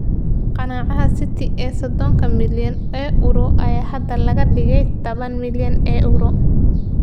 Ganaaxa City ee sodonka milyan oo euro ayaa haatan laga dhigay taban milyan oo euro.